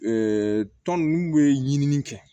tɔn ninnu bɛ ɲinini kɛ